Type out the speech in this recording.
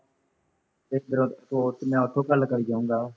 ਇੱਧਰੋ ਸਟੋਰ ਚ ਮੈਂ ਉੱਧਰੋ ਗੱਲ ਕਰੀ ਜਾਊਂਗਾ